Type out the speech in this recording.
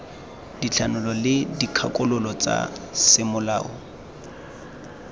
dithanolo le dikgakololo tsa semolao